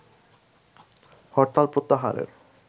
হরতাল প্রত্যাহারের